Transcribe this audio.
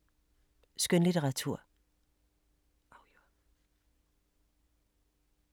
Skønlitteratur